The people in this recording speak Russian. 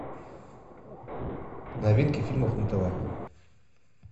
новинки фильмов на тв